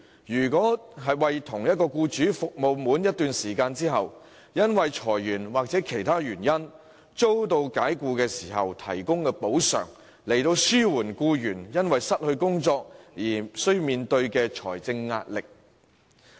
若僱員為同一僱主服務滿一段時間後，由於裁員或其他原因遭解僱，亦能獲得一定的補償，以紓緩因失業而面對的財政壓力。